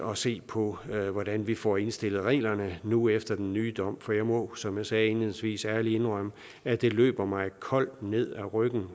at se på hvordan vi får indstillet reglerne nu efter den nye dom for jeg må som jeg sagde indledningsvis ærligt indrømme at det løber mig koldt ned ad ryggen